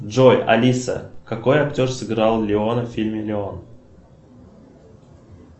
джой алиса какой актер сыграл леона в фильме леон